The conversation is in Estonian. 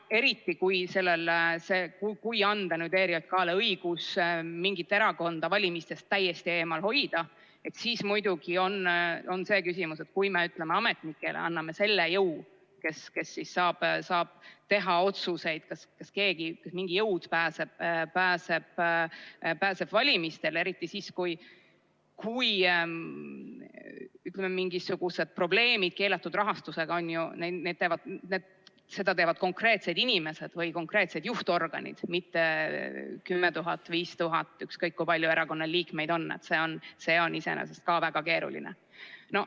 Eriti, kui anda ERJK-le õigus mingit erakonda valimistest täiesti eemal hoida, siis muidugi on see küsimus, et kui me, ütleme, ametnikele anname selle jõu, nad saavad teha otsuseid, kas mingi jõud pääseb valimistele, eriti siis, kui on mingisugused probleemid keelatud rahastusega, seda teevad konkreetsed inimesed või konkreetsed juhtorganid, mitte 10 000, 5000, ükskõik kui palju erakonnal liikmeid on – see on iseenesest ka väga keeruline.